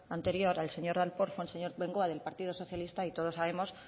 anterior al señor darpón fue el señor bengoa del partido socialista y todos sabemos